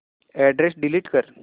address delete कर